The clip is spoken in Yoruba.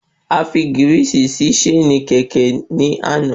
Afi gírìsì sí ṣéènì kẹ̀kẹ́ ní àná